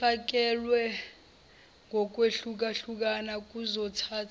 efakelwe ngokwehlukahlukana kuzothatha